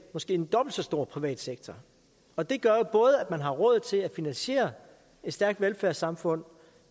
måske dobbelt så stor privat sektor og det gør jo at man har råd til at finansiere et stærkt velfærdssamfund